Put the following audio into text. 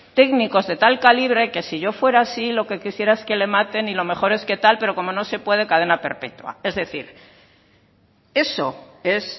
técnicos de tal calibre que si yo fuera así lo que quisiera es que le maten y lo mejor es tal pero como no se puede cadena perpetua es decir eso es